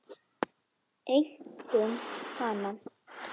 Einkum hana.